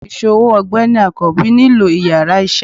isòwó ọgbẹni akanbi nílo íyarà iṣẹ